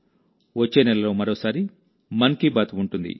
వచ్చే నెలలోమరోసారి మన్ కీ బాత్ ఉంటుంది